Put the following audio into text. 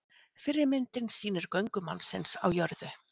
fyrri myndin sýnir göngu mannsins á jörðu